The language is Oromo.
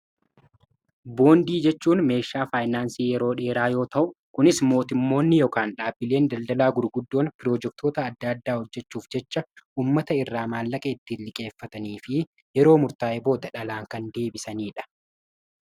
Boondii jechuun meeshaa faayinaansii yeroo dheeraa yoo ta'u kunis mootimmoonni yookiin dhaabbileen daldalaa gurguddoon piroojektoota adda addaa hojjechuuf jecha ummata irraa maallaqa ittiin liqeeffatanii fi yeroo murtaa'e booda dhalaan kan deebisaniidha.